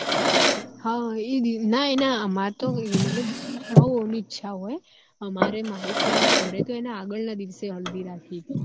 હ ના એ ના અમારે તો મતલબ હઉ હઉ ની ઈચ્છા હોય અમારે મારી friend ના ઘર તો એના આગળ ના દિવેસ હલ્દી રાખી તી